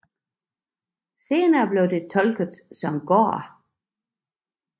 Senere er det blevet tolket som gård